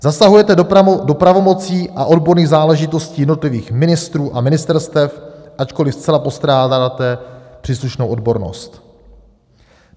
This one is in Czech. Zasahujete do pravomocí a odborných záležitostí jednotlivých ministrů a ministerstev, ačkoliv zcela postrádáte příslušnou odbornost.